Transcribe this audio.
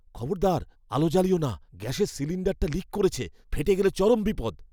খবরদার আলো জ্বালিয়ো না! গ্যাসের সিলিন্ডারটা লিক করেছে, ফেটে গেলে চরম বিপদ।